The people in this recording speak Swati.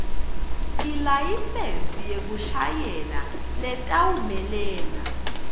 ilayisensi yekushayela letawumelela